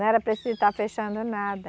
Não era preciso estar fechando nada.